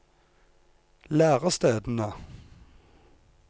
lærestedene